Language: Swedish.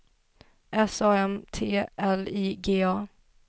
S A M T L I G A